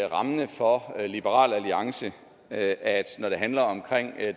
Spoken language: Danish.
rammende for liberal alliance at når det handler om